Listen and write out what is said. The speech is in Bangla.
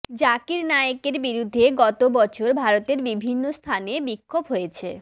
জাকির নায়েকের বিরুদ্ধে গত বছর ভারতের বিভিন্ন স্থানে বিক্ষোভ হয়েছে